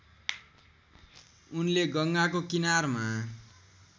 उनले गङ्गाको किनारमा